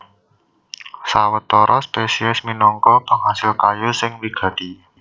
Sawetara spesies minangka pangasil kayu sing wigati